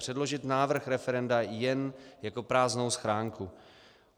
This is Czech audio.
Předložit návrh referenda jen jako prázdnou schránku.